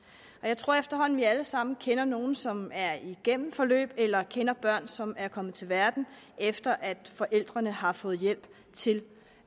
og jeg tror at vi efterhånden alle sammen kender nogle som er igennem forløb eller kender børn som er kommet til verden efter at forældrene har fået hjælp til